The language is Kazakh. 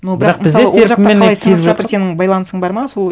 сенің байланысың бар ма сол